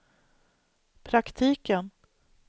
praktiken